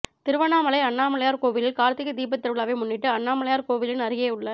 திருவண்ணாமலை அண்ணாமலையார் கோவிலில் கார்த்திகை தீபத்திருவிழாவை முன்னிட்டு அண்ணாமலையார் கோவிலின் அருகேயுள்ள